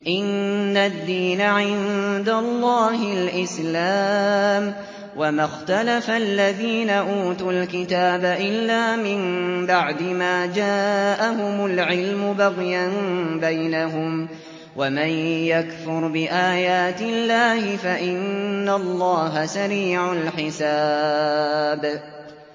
إِنَّ الدِّينَ عِندَ اللَّهِ الْإِسْلَامُ ۗ وَمَا اخْتَلَفَ الَّذِينَ أُوتُوا الْكِتَابَ إِلَّا مِن بَعْدِ مَا جَاءَهُمُ الْعِلْمُ بَغْيًا بَيْنَهُمْ ۗ وَمَن يَكْفُرْ بِآيَاتِ اللَّهِ فَإِنَّ اللَّهَ سَرِيعُ الْحِسَابِ